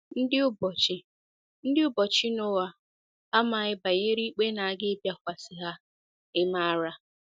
Ndị ụbọchị Ndị ụbọchị Noa amaghị banyere ikpe na - aga ịbịakwasị ha — ị̀ maara?